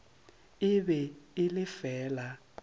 e be e le fela